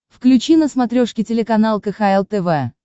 включи на смотрешке телеканал кхл тв